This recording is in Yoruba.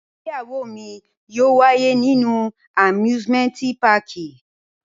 Igbeyawo mi yóò waye ninu amusimenti pààki.